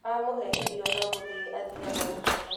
Amũhe irio no gũthii athiaga gũkoma